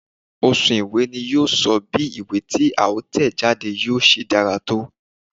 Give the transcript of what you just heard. Òsùn ìwé ni yíò sọ bí ìwé tí a tẹ̀ jáde yíò ti dára tó